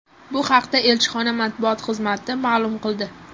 Bu haqda elchixona matbuot xizmati ma’lum qildi.